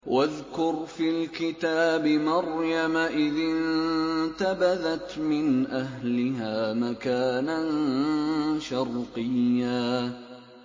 وَاذْكُرْ فِي الْكِتَابِ مَرْيَمَ إِذِ انتَبَذَتْ مِنْ أَهْلِهَا مَكَانًا شَرْقِيًّا